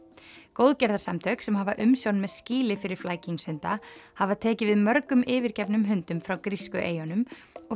góðgerðarsamtök sem hafa umsjón með skýli fyrir hafa tekið við mörgum yfirgefnum hundum frá grísku eyjunum og